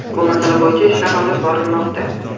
Bu masala bo‘yicha ishlar olib borilmoqda.